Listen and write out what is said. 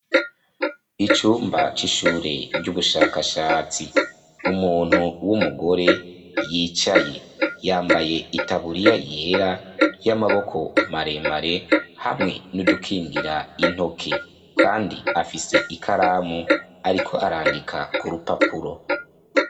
Icumba c’ishure ry’ubushakashatsi umuntu wumugore yicaye yambaye itaburiya yera yamaboko maremare hamwe nudukingira intoke kandi afise ikaramu ariko arandika kurupapuro.